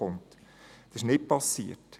Dies ist nicht passiert.